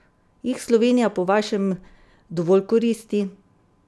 Jih Slovenija po vašem dovolj koristi?